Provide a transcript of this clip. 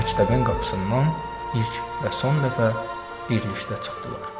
Məktəbin qapısından ilk və son dəfə birlikdə çıxdılar.